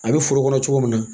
A bɛ foro kɔnɔ cogo min na